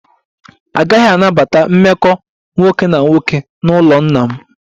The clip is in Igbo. A gaghị anabata mmekọ nwoke na nwoke n'ụlọ nna m